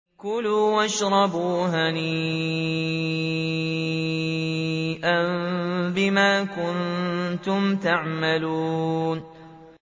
كُلُوا وَاشْرَبُوا هَنِيئًا بِمَا كُنتُمْ تَعْمَلُونَ